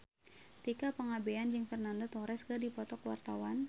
Tika Pangabean jeung Fernando Torres keur dipoto ku wartawan